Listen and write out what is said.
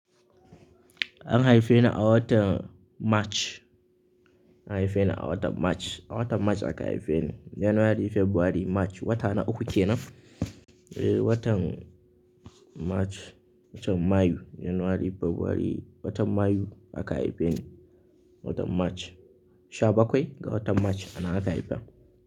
An haife ni a watan March, an haife ni a watan March, a watan March aka haife ni. January, February, March wata na uku kenan. Watan March, watan Mayu, January, February, watan Mayu aka haife ni. Watan March, sha bakwai ga watan March ana haifa ni.